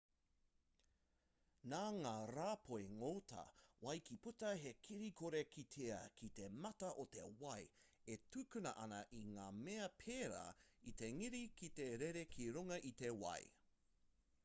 nā ngā rāpoi ngota wai ka puta he kiri kore kitea ki te mata o te wai e tukuna ana i ngā mea pērā i te ngira ki te rere ki runga i te wai